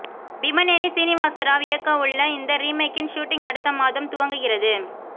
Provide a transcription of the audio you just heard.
பிமநேனி சீனிவாச ராவ் இயக்கவுள்ள இந்த ரீமேக்கின் ஷூட்டிங் அடுத்த மாதம் துவங்குகிறது